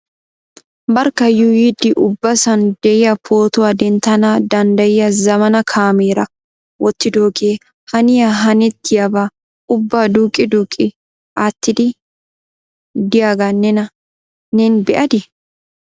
Barkka yuuyyidi ubbasan de'iya pootuwa denttana denddayiya zammaana kaameera wottidooge haniya hanetiyaaba ubba duuqqi duuqqi aatide de'iyaaga neen be'adii ?